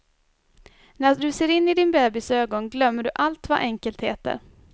När du ser in i din bebis ögon glömmer du allt vad enkelt heter.